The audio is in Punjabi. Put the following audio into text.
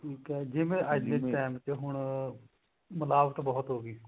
ਜਿਵੇਂ ਅੱਜ ਦੇ time ਚ ਹੁਣ ਮਿਲਾਵਟ ਬਹੁਤ ਹੋਗੀ